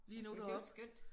Ja men det er jo skønt